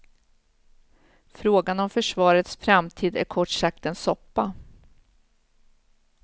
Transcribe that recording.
Frågan om försvarets framtid är kort sagt en soppa.